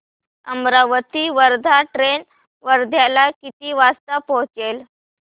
Amravati Wardha train वर्ध्याला किती वाजता पोहचेल